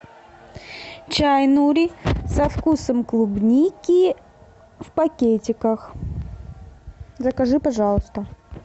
чай нури со вкусом клубники в пакетиках закажи пожалуйста